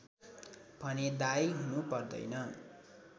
भने दायी हुनु पर्दैन